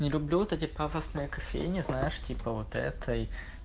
не люблю вот эти пафосные кофейни знаешь типа вот этой